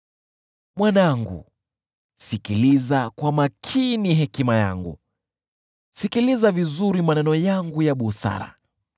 Mwanangu, sikiliza kwa makini hekima yangu, sikiliza vizuri maneno yangu ya busara,